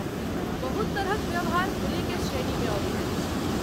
बहुत तरहक व्यवहार बुलीकेँ श्रेणीमे अबैत अछि।